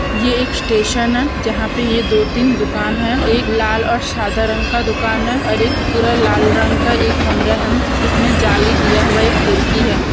ये एक स्टेशन है जहा पे ये दो तीन दुकान ह एक लाल और साधा रंग का दुकान है और एक पूरा लाल रंग का एक कमरा है जिसमें जाली दिया हुआ एक खिरकी है।